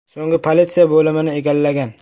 So‘ng politsiya bo‘limini egallagan”.